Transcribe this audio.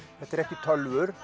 þetta eru ekki tölvur